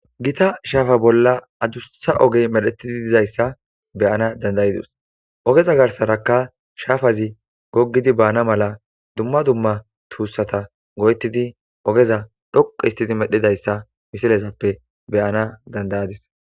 gita shaafa bolla adussha ogey medhetidi dizayssa be7ana dandayidos ogeza garsarakka shaafazi goggidi baana mala dumma dumma tuussata go7etidi ogeza dhoqo histidi medhidayssa misilezappe be7ana dandayadis.